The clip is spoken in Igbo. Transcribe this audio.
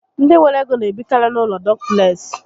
Ndị nwere ego n'ebikari n'ụlọ dupleksị